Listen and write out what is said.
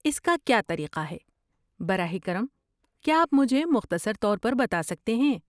اس کا کیا طریقہ ہے، براہ کرم کیا آپ مجھے مختصر طور پر بتا سکتے ہیں؟